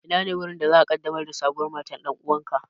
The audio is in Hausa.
Inane wurin da za'a ƙaddamar da sabuwar matar ɗan'uwanka?